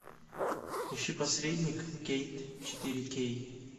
ищи посредник кейт четыре кей